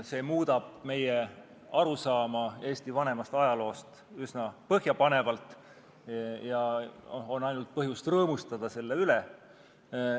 See muudab meie arusaama Eesti vanemast ajaloost üsna põhjapanevalt ja on ainult põhjust rõõmustada selle üle.